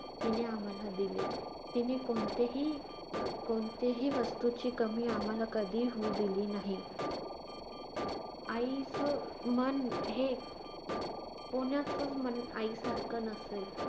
तिने आम्हाला दिले. तिने कोणतेही~ अह कोणतेही वस्तूची कमी आम्हाला कधीही होऊ दिली नाही. आई~ आईचं मन हे कोण्याचंच मन आईसारखं नसेल.